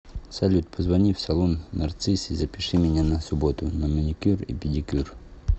салют позвони в салон нарцисс и запиши меня на субботу на маникюр и педикюр